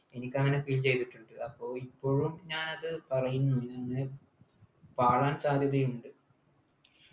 എനിക്കങ്ങനെ feel ചെയ്തിട്ടുണ്ട് അപ്പൊ ഇപ്പോഴും ഞാനത് പറയുന്നു ഏർ പാളാൻ സാധ്യതയുണ്ട്